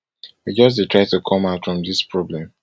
we just dey try to come out from dis problem